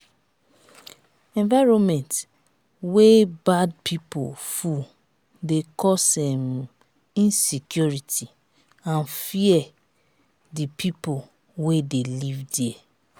environment wey bad pipo full de cause um insecurity and fear di pipo wey de live there